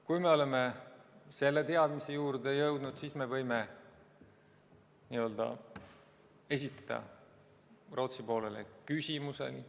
Kui me oleme selle teadmiseni jõudnud, siis me võime esitada Rootsi poolele küsimusi.